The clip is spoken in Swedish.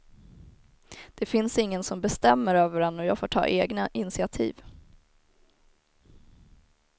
Det finns ingen som bestämmer över en och jag får ta egna initiativ.